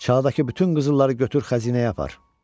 Çağdakı bütün qızılları götür xəzinəyə apar.